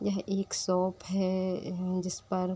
यह एक शॉप है एह जिसपर --